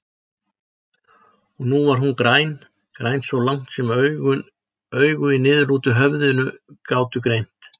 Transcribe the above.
Og nú var hún græn, græn svo langt sem augu í niðurlútu höfði gátu greint.